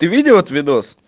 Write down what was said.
ты видел этот видос